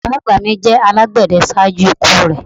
Bàbá àgbà mi jẹ alágbède ṣaaju iku rẹ